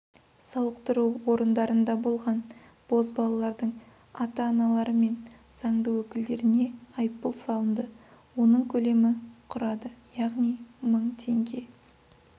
сауықтыру орындарында болған бозбалалардың ата-аналары мен заңды өкілдеріне айыппұл салынды оның көлемі құрады яғни мың теңге